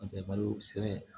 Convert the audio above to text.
N'o tɛ malo sɛnɛ